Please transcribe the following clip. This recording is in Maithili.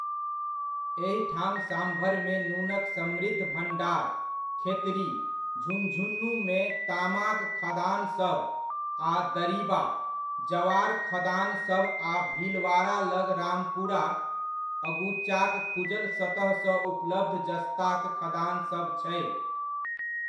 एहिठाम साम्भरमे नूनक समृद्ध भण्डार, खेतड़ी, झुन्झुनूमे तामाक खदानसभ, आ दरीबा, जवार खदानसभ आ भीलवाड़ा लग रामपुरा अगुचाक खुजल सतहसँ उपलब्ध जस्ताक खदानसभ छै।